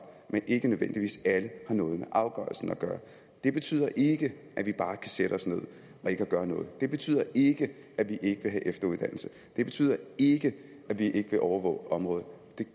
men ikke nødvendigvis alle har noget med afgørelsen at gøre det betyder ikke at vi bare kan sætte os ned og ikke gøre noget det betyder ikke at vi ikke vil have efteruddannelse det betyder ikke at vi ikke vil overvåge området